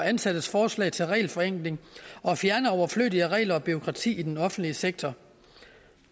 ansattes forslag til regelforenkling og fjerne overflødige regler og bureaukrati i den offentlige sektor